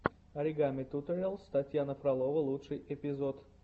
оригами туториалс татьяна фролова лучший эпизод